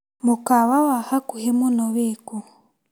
Mũkawa wa hakuhĩ muno wĩkũ?